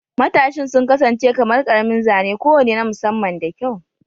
Matashin sun kasance kamar ƙaramin zane kowane na musamman da kyau.